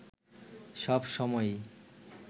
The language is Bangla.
সব সময়ই